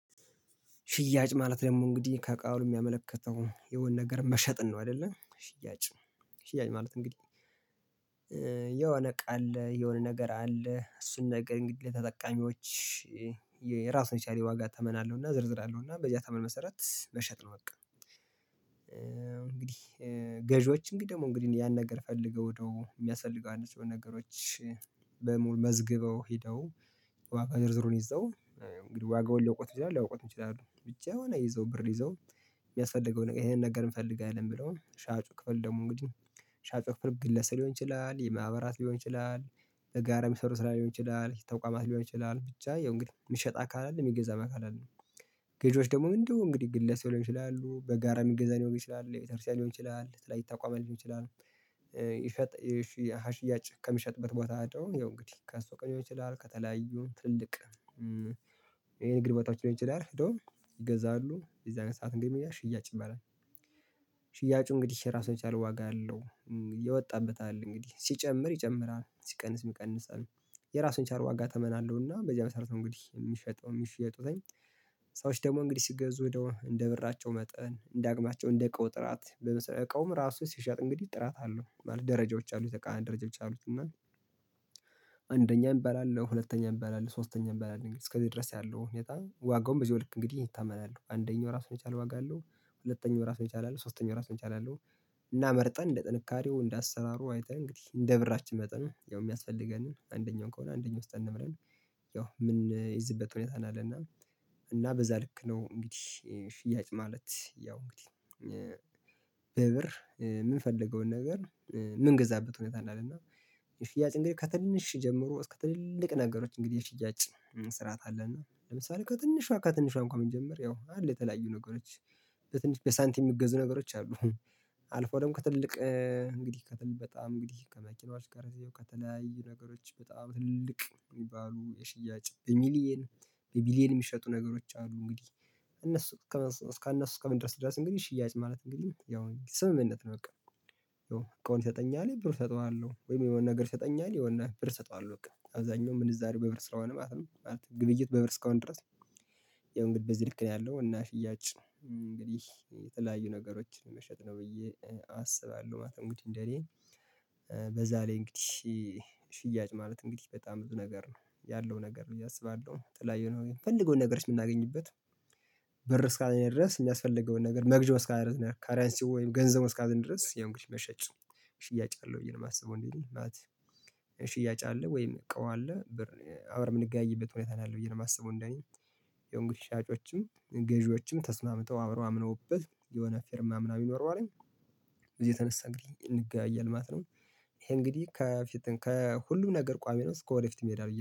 ሽያጭ ማለት ደግሞ እንግዲህ ከቃሉ የሚያመለክተው የሆነ ነገር መሸጥን ነው አይደለ? ሽያጭ ሽያጭ ማለት እንግዲህ እቃ አለ፣ የሆነ ነገር አለ። እሱን ነገር እንግዲህ ተጠቃሚዎች የራሱን የቻለ የዋጋ ተመናለሁና ዝርዝር አለውና በዚያ ተመን መሰረት በሸጥ ነው በቃ እንግዲህ ገዢዎች እንግዲህ ደግሞ እንግዲህ ያን ነገር ፈልገው ወደው የሚያስፈልገው አንድ ሰው ነገሮች በሙሉ መዝግበው ሄደው ዋጋ ዝርዝሩን ይዘው ዋጋውን ሊያውቁት ይችላል ሊያውቁት ይችላል ብቻ የሆነ ይዘው ብር ይዘው የሚያስፈልገው ነገር ይሄንን ነገር እንፈልጋለን ብለው ሻጩ ክፍል ደግሞ እንግዲህ ሻጩ ክፍል ግለሰብ ሊሆን ይችላል፣ የማህበራት ሊሆን ይችላል፣ የጋራ ሚሰሩ ስራ ሊሆን ይችላል፣ ተቋማት ሊሆን ይችላል ብቻ ያው እንግዲህ ሚሸጥ አካል አለ የሚገዛ መካከል አለ ገዥዎች የህግ ይችላሉ፣ ድነው እንግዲህ ግለሰብ ሊሆን ይችላሉ፣ በጋራ የሚገዛ ሊሆን ይችላል፣ የቤተክርስቲያን ይሆን ይችላል፣ ትላልቅ ተቋማት ይችላል፣ ይፈጥር ሀሽያጭ ከሚሸጥበት ቦታ አለው እንግዲህ ከሱ ቀን ይሆናል ከተለያዩ ትልቅ ይሄን እግር በታች ሊሆን ይችላል እንደውም ይገዛሉ የዛን ሰዓት እንግዲህ ምንድነው ሽያጭ ይባላል። ሽያጩ እንግዲህ ራሱ የቻለ ዋጋ አለው። የወጣበት አለ እንግዲህ ሲጨምር ይጨምራል፣ ሲቀንስ ይቀንሳል አለ። የራሱን የቻለ ዋጋ ተመን እና በዚያ መሰረት እንግዲህ የሚፈጠው የሚፈጠው ሰዎች ደግሞ እንግዲህ ሲገዙ ወደ እንደ ብራቸው መጠን እንደ አቅማቸው እንደ እቃው ጥራት በመሰለህ እቃውም ራሱ ሲሸጥ እንግዲህ ጥራት አለው ደረጃዎች አሉት ደረጃዎች አሉት እና ሻጩ ፍርግለስ ሊሆን ይችላል፣ የማህበራት ሊሆን ይችላል፣ የጋራ ሚሰሩ ስራ ሊሆን ይችላል፣ ተቋማት ሊሆን ይችላል ብቻ ያው እንግዲህ የምትሸጣ ካለ አይደለም የሚገዛ መካከል አለን ጌጆች ያው ምን የዚህበት ሁኔታ ነው አለ እና እና በዛ ልክ ነው እንግዲህ ሽያጭ ማለት ያው እንግዲህ በብር የምንፈልገውን ነገር ምንገዛበት ሁኔታ እና የሽያጭ እንግዲህ ከትንሽ ጀምሮ እስከ ትልልቅ ነገሮች እንግዲህ ሽያጭ መስራት አለና ለምሳሌ ከትንሿ ከትንሿ እንኳን መጀመር ያው አለ የተለያዩ ነገሮች በትንሽ በሳንቲም የሚገዙ ነገሮች አሉ። አልፎ ደግሞ ከትልቅ እንግዲህ ከትልቅ በጣም እንግዲህ ከመኪናው አሽከረዜው ከተለያዩ ነገሮች በጣም ትልቅ የሚባሉ የሽያጭ በሚሊየን በቢሊየን የሚሸጡ ነገሮች አሉ እንግዲህ እነሱ እስከ እስከ ምን ድረስ ድረስ እንግዲህ ሽያጭ ማለት እንግዲህ ያው ስምምነት ነው በቃ የሆነ ብር ይሰጠኛል ብር ይሰጠዋለሁ ወይም የሆነ ነገር ይሰጠኛል የሆነ ብር ይሰጠዋለሁ እሰጠዋለሁ አብዛኛው ምንዛሬ በብር ስራውን ማለት ነው። ግብይት በብር እስከሆን ድረስ ያው እንግዲህ በዚህ ልክ ነው ያለው እና ሽያጭ እንግዲህ የተለያዩ ነገሮችን መሸጥ ነው ብዬ አስባለሁ ማተሙዲን እንደኔ በዛ ላይ እንግዲህ ሽያጭ ማለት እንግዲህ በጣም ብዙ ነገር ነው ያለው ነገር ብየ አሰባለሁ ጥላ የሆነው የምንፈልገው ነገርስ የምናገኝበት በር እስካለኝ ድረስ የሚያስፈልገውን ነገር መግዣው እስካለኝ ነው ካርያንሲ ወይም ገንዘብ እስከ አገኝ ድረስ ያው እንግዲህ መሸጫ ሽያጭ አለው ብዬ ነው የማስበው እንዴ ማት ሽያጭ አለ ወይም እቃው አለ ብር አብረን የምንገናኝበት ሁኔታ ነው ያለው ብዬ ነው የማስበው እንደኔ ያው እንግዲህ ሻጮችም ገዢዎችም ተስማምተው አምነው አምነውበት የሆነ ፊርማ ምናምን ይኖረዋል እኔ እዚህ የተነሳ እንግዲህ እንገበያያለን ማለት ነው። ይሄ እንግዲህ ከፊት ከሁሉም ነገር ቋሚ ነው እስከ ወደፊት የሚሄድ